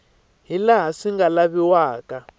hi laha swi nga laviwaka